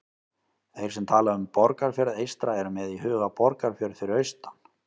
Þeir sem tala um Borgarfjörð eystra eru með í huga Borgarfjörð fyrir austan.